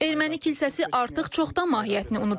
Erməni kilsəsi artıq çoxdan mahiyyətini unudub.